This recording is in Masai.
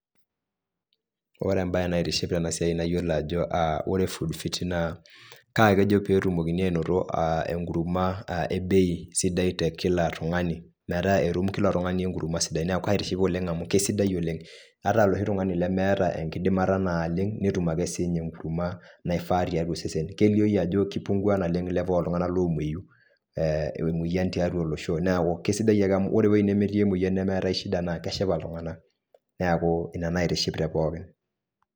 Wore embaye naitiship tena siai nayiolo ajo, aa wore food fiti naa, kaa kejo peetumokini ainoto enkurma ebei sidai te kila tungani. Metaa etum kila tungani enkurma sidai. Neeku kaitiship oleng' amu kaisidai oleng'. Ata eloshi tungani lemeeta enkidimata naaleng, netum ake sinye enkurma naifaa tiatua osesen. Kelioi ajo kipungua naleng level ooltunganak loomoyu. Emoyian tiatua olosho, neeku kaisidai amu wore ewoi nemetii emoyian nemeetai ai shida naa keshipa iltunganak. Neeku inia naitiship te pookin.